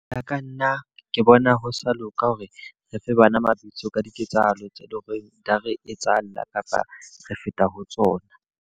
Ho ya ka nna, ke bona ho sa loka hore re fe bana mabitso ka diketsahalo tse loreng di a re etsahalla kapa re feta ho tsona.